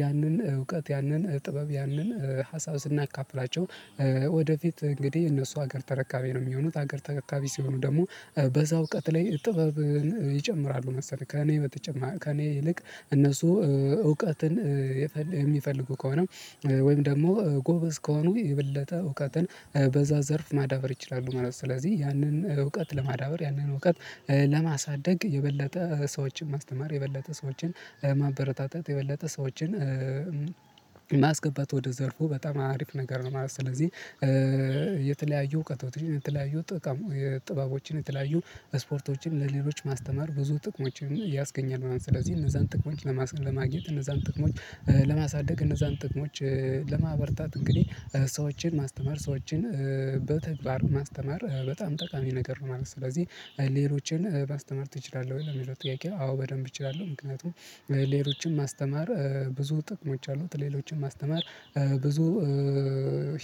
ያንን እውቀት ያንን ጥበብ ያንን ሀሳብ ስናካፍላቸው ወደፊት እንግዲህ እነሱ ሀገር ተረካቢ ነው የሚሆኑት። ሀገር ተረካቢ ሲሆኑ ደግሞ በዛ እውቀት ላይ ጥበብን ይጨምራሉ መሰለህ ከእኔ በተጨማ ከእኔ ይልቅ እነሱ እውቀትን የሚፈልጉ ከሆነ ወይም ደግሞ ጎበዝ ከሆኑ የበለተ እውቀትን በዛ ዘርፍ ማዳበር ይችላሉ ማለት ነው። ስለዚህ ያንን እውቀት ለማዳበር ያንን እውቀት ለማሳደግ የበለጠ ሰዎችን ማስተማር የበለጠ ሰዎችን ማበረታታት የበለጠ ሰዎችን የማስገባት ወደ ዘርፉ በጣም አሪፍ ነገር ነው ማለት ነው ስለዚህ የተለያዩ እውቀቶችን የተለያዩ ጥበቦችን የተለያዩ ስፖርቶችን ለሌሎች ማስተማር ብዙ ጥቅሞችን ያስገኛል ምናምን ስለዚህ እነዛን ጥቅሞች ለማግኘት እነዛን ጥቅሞች ለማሳደግ እነዛን ጥቅሞች ለማበርታት እንግዲህ ሰዎችን ማስተማር ሰዎችን በተግባር ማስተማር በጣም ጠቃሚ ነገር ነው ማለት ነው። ስለዚህ ሌሎችን ማስተማር ትችላለህ ወይ የሚለው ጥያቄው አዎ በደንብ እችላለሁ ምክንያቱም ሌሎችን ማስተማር ብዙ ጥቅሞች አሉት ሌሎችን ማስተማር ብዙ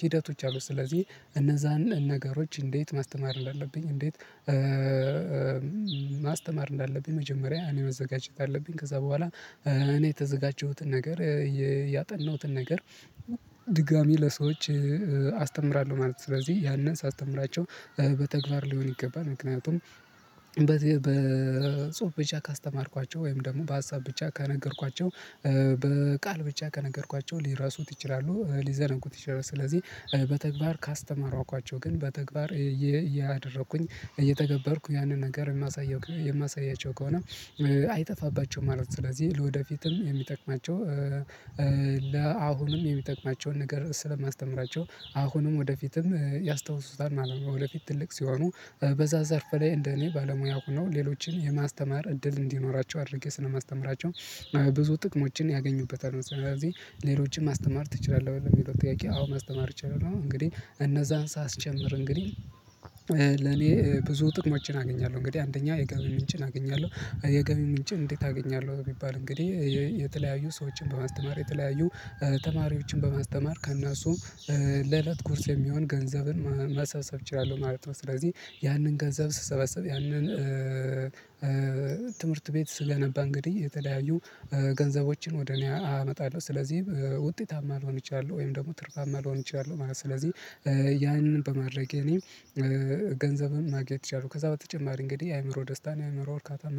ሂደቶች አሉ ስለዚህ እነዛን ነገሮች እንዴት ማስተማር እንዳለብኝ እንዴት ማስተማር እንዳለብኝ መጀመሪያ እኔ መዘጋጀት አለብኝ ከዛ ቦኋላ እኔ የተዘጋጀሁትን ነገር ያጠናሁትን ነገር ድጋሚ ለሰዎች አስተምራለሁ ማለት ነው። ስለዚህ ያንን ሳስተምራቸው በተግባር ሊሆን ይገባል ምክንያቱም በጽሁፍ ብቻ ካስተማርኳቸው ወይም ደግሞ በሀሳብ ብቻ ካነገርኳቸው በቃል ብቻ ከነገርኳቸው ሊረሱት ይችላሉ። ሊዘነጉት ይችላሉ ስለዚህ በተግባር ካስተማሯኳቸው ግን በተግባር እያደረኩኝ እየተገበርኩ ያንን ነገር የማሳየው የማሳያቸው ከሆነ አይጠፋባቸውም ማለት ነው። ስለዚህ ለወደፊትም የሚጠቅማቸው ለአሁንም የሚጠቅማቸውን ነገር ስለማስተምራቸው አሁንም ወደፊትም ያስታውሱታል ማለት ነው። ወደፊት ትልቅ ሲሆኑ በዛ ዘርፍ ላይ እንደ እኔ ባለሙያ ሆኖ ሌሎችን የማስተማር እድል እንዲኖራቸው አድርጌ ስለማስተምራቸው ብዙ ጥቅሞችን ያገኙበታሉ። ስለዚህ ሌሎችን ማስተማር ትችላለህ የሚለው ጥያቄ አዎ ማስተማር አችላለህ። እንግዲህ እነዛን ሳስጨምር እንግዲህ ለኔ ብዙ ጥቅሞችን አገኛለሁ እንግዲህ አንደኛ የገቢ ምንጭን አገኛለሁ የገቢ ምንጭን እንዴት አገኛለው? የሚባል እንግዲህ የተለያዩ ሰዎችን በማስተማር የተለያዩ ተማሪዎችን በማስተማር ከነሱ ለእለት ቁርስ የሚሆን ገንዘብን ማሰብሰብ እችላለሁ ማለት ነው። ስለዚህ ያንን ገንዘብ ስሰበስብ ያንን ትምህርት ቤት ስገነባ እንግዲህ የተለያዩ ገንዘቦችን ወደ እኔ አመጣለሁ ስለዚህ ውጤታማ መሆን አችላለው ወይም ደግሞ ትርፋማ መሆን አችላለው ማለት ነው ስለዚህ ያንን በማድረጌ እኔም ገንዘብም ማግኘት አችላለው ከዛ በተጨማሪ እንግዲህ የአእምሮ ደስታን የአእምሮ እርካታን